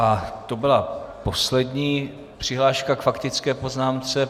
A to byla poslední přihláška k faktické poznámce.